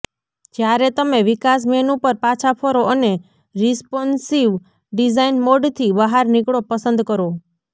જ્યારે તમે વિકાસ મેનૂ પર પાછા ફરો અને રિસ્પોન્સિવ ડિઝાઇન મોડથી બહાર નીકળો પસંદ કરો